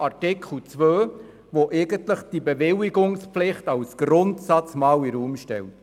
Wir haben den Artikel 2, der die Bewilligungspflicht als Grundsatz in den Raum stellt.